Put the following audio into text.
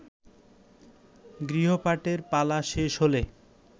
গৃহপাঠের পালা শেষ হলে